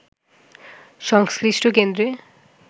সংশ্লিষ্ট কেন্দ্রে